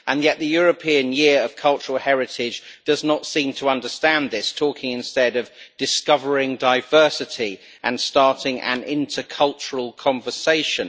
Yet the European Year of Cultural Heritage does not seem to understand this, talking instead of discovering diversity' and starting an inter-cultural conversation'.